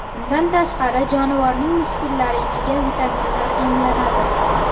Bundan tashqari, jonivorning muskullari ichiga vitaminlar emlanadi.